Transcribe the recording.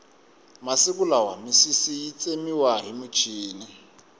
masiku lama misisi yi tsemiwa hi muchini